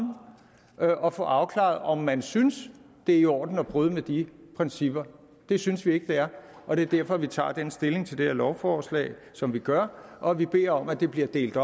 og få afklaret om man synes det er i orden at bryde med de principper det synes vi ikke det er og det er derfor vi tager stilling til det her lovforslag som vi gør og at vi beder om at det bliver delt